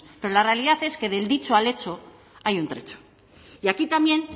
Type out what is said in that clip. pero la realidad es que del dicho al hecho hay un trecho y aquí también